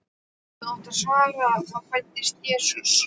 þá átti að svara: þá fæddist Jesús.